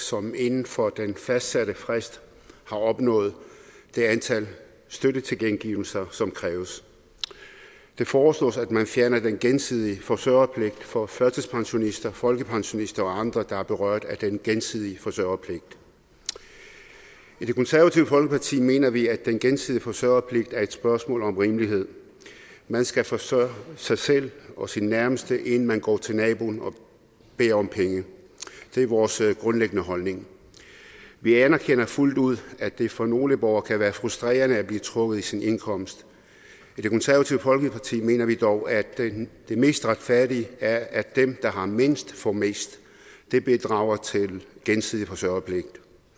som inden for den fastsatte frist har opnået det antal støttetilkendegivelser som kræves det foreslås at man fjerner den gensidige forsørgerpligt for førtidspensionister folkepensionister og andre der er berørt af den gensidige forsørgerpligt i det konservative folkeparti mener vi at den gensidige forsørgerpligt er et spørgsmål om rimelighed man skal forsørge sig selv og sine nærmeste inden man går til naboen og beder om penge det er vores grundlæggende holdning vi anerkender fuldt ud at det for nogle borgere kan være frustrerende at blive trukket i sin indkomst i det konservative folkeparti mener vi dog at det mest retfærdige er at dem der har mindst får mest det bidrager til gensidig forsørgerpligt